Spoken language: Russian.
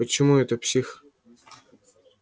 почему это псих